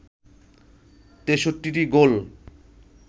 ৬৩টি গোল